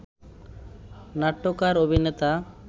নাট্যকার, অভিনেতা